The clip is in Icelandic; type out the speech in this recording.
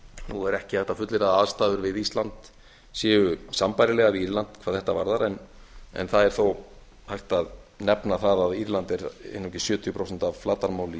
nú er ekki hægt að fullyrða að aðstæður við ísland séu sambærilegar við írland hvað þetta varðar en það er þó hægt að nefna það að írland er einungis sjötíu prósent af flatarmáli